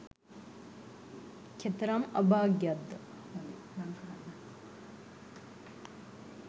කෙතරම් අභාග්‍යයක් ද?